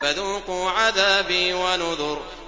فَذُوقُوا عَذَابِي وَنُذُرِ